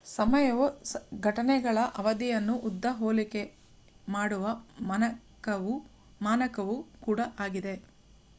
ಸಮಯವು ಘಟನೆಗಳ ಅವಧಿಯನ್ನುಉದ್ದ ಹೋಲಿಕೆ ಮಾಡುವ ಮಾನಕವೂ ಕೂಡ ಆಗಿದೆ